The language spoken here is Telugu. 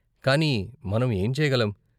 కానీ మనం ఏం చేయగలం?